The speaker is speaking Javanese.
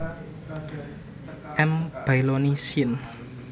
M baillonii syn